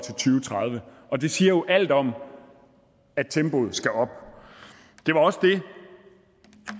tredive og det siger jo alt om at tempoet skal op det var også det